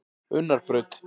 Unnarbraut